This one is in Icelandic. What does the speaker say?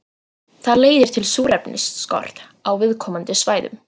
Það leiðir til súrefnisskorts á viðkomandi svæðum.